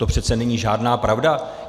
To přece není žádná pravda.